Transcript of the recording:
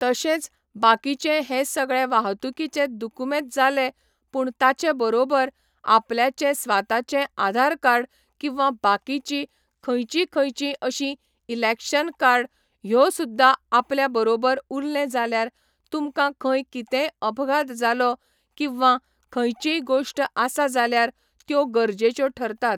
तशेंच बाकीचें हे सगळे वाहतुकिचे दुकूमेत जाले पूण ताचे बरोबर आपल्याचें स्वाताचे आधार कार्ड किंवा बाकीची खंयची खंयची अशी इलॅक्शन कार्ड ह्यो सुद्दा आपल्या बरोबर उरलें जाल्यार तुमकां खंय कितेंय अपघात जालो किंवा खंयचीय गोष्ट आसा जाल्यार त्यो गरजेच्यो ठरतात.